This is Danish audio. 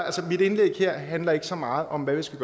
mit indlæg her handler ikke så meget om hvad der skal